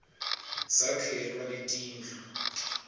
sakhelwa netindlu